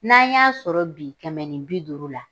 N'an y'a sɔrɔ bi kɛmɛ ni bi duuru la